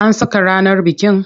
An saka ranar bikin?